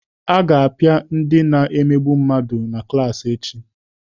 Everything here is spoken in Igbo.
A ga-apịa ndị na-emegbu mmadụ na klaasị echi.